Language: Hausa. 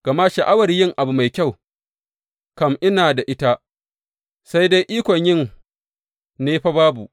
Gama sha’awar yin abu mai kyau kam ina da ita, sai dai ikon yin ne fa babu.